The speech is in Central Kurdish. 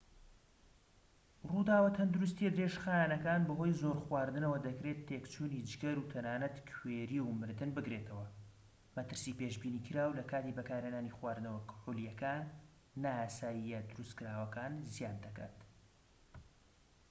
ڕووداوە تەندروستییە درێژخایەنەکان بەهۆی زۆر خواردنەوە دەکرێت تێکچوونی جگەر و تەنانەت کوێری و مردن بگرێتەوە مەترسی پێشبینیکراو لە کاتی بەکارهێنانی خواردنەوە کحولیە نایاساییە دروستکراوەکان زیاد دەکات